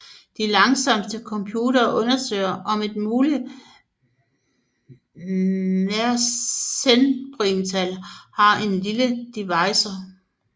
De langsomste computere undersøger om et muligt mersenneprimtal har en lille divisor